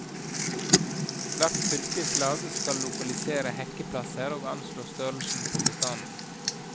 Hvert fylkeslag skal lokalisere hekkeplasser og anslå størrelsen på bestanden.